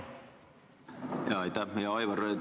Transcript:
Hea Aivar!